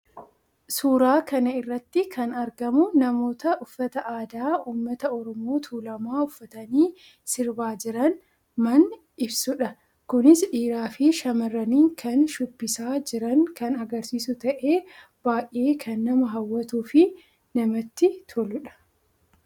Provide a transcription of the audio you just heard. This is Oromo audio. Suuraa kana irratti kan argamu namoota uffata aadaa ummata Oromoo Tuulamaa uffatanii sirbaa jiran man ibsuudha. Kunis dhiiraa fi shamarraniin kan shubbisaa jiran kan agrsiisu ta'e baayyee kan nama hawwatuu fi namatti toluudha.